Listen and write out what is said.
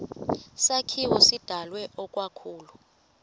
sakhiwo sidalwe ikakhulu